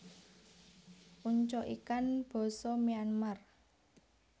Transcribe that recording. Ungcoikan basa Myanmar